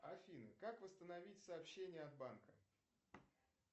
афина как восстановить сообщения от банка